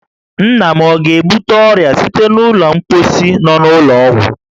Nna m ọ ga-ebute ọrịa site n'ụlọ mkposhi nọ n'ụlọ ọgwụ?